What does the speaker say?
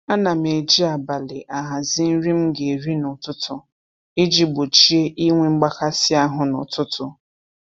Ana m eji abalị ahazi nri m ga-eri n'ụtụtụ iji gbochie inwe mgbakasị ahụ n'ụtụtụ